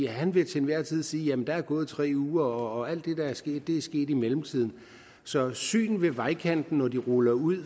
han vil til enhver tid sige at der er gået tre uger og alt det der er sket er sket i mellemtiden så syn ved vejkanten når de ruller ud